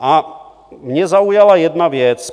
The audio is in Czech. A mě zaujala jedna věc.